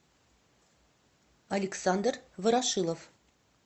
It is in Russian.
александр ворошилов